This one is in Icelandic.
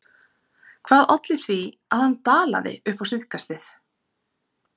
En hvað olli því að hann dalaði upp á síðkastið?